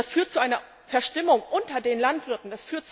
Das führt zu einer Verstimmung unter den Landwirten.